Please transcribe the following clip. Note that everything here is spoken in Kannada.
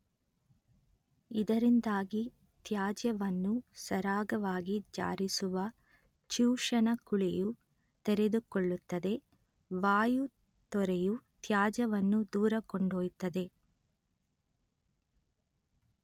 ಇದರಿಂದಾಗಿ ತ್ಯಾಜ್ಯವನ್ನು ಸರಾಗವಾಗಿ ಜಾರಿಸುವ ಚೂಷಣ ಕುಳಿಯು ತೆರೆದುಕೊಳ್ಳುತ್ತದೆ ವಾಯು ತೊರೆಯು ತ್ಯಾಜ್ಯವನ್ನು ದೂರಕೊಂಡೊಯ್ಯುತ್ತದೆ